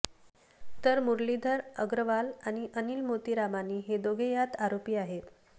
तर मुरलीधर अग्रवाल आणि अनिल मोतीरामानी हे दोघे यात आरोपी आहेत